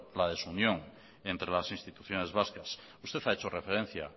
la desunión entre las instituciones vascas usted ha hecho referencia